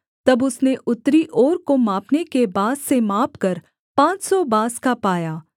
तब उसने उत्तरी ओर को मापने के बाँस से मापकर पाँच सौ बाँस का पाया